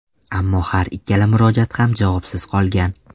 Ammo har ikkala murojaat ham javobsiz qolgan.